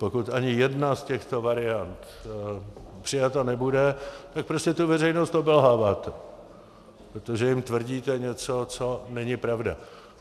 Pokud ani jedna z těchto variant přijata nebude, tak prostě tu veřejnost obelháváte, protože jim tvrdíte něco, co není pravda.